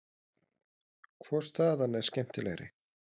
Hvor staðan er skemmtilegri?